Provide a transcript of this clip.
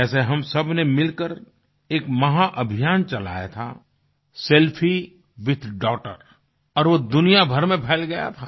जैसे हम सबने मिलकर एक महाअभियान चलाया था सेल्फी विथ डॉगटर और वो दुनियाभर में फैल गया था